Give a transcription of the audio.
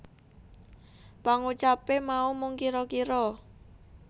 Pangucape mau mung kira kira